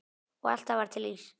Og alltaf var til ís.